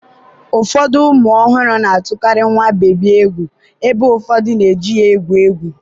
ụfọdụ ụmụ ọhụrụ na-atụkarị nwa bebi egwu ebe ụfọdụ na-eji ya egwu egwu.